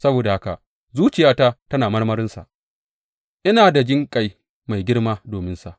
Saboda haka zuciyata tana marmarinsa; ina da jinƙai mai girma dominsa,